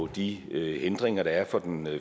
de hindringer der er for den